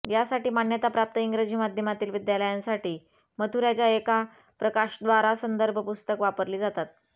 यासाठी मान्यताप्राप्त इंग्रजी माध्यमातील विद्यालयांसाठी मथुराच्या एका प्रकाशकाद्वारा संदर्भ पुस्तक वापरली जातात